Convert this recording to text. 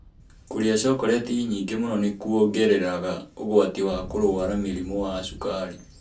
Kũrĩa chocolati nyingĩ mũno nĩ kwongereraga ũgwati wa kũrũara mũrimũ wa cukari.